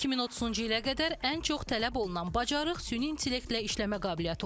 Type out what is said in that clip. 2030-cu ilə qədər ən çox tələb olunan bacarıq süni intellektlə işləmə qabiliyyəti olacaq.